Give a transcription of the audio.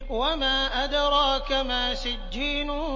وَمَا أَدْرَاكَ مَا سِجِّينٌ